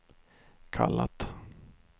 kallat